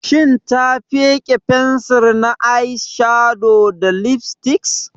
Shin ta fike fensir na eyeshadow da lipstick?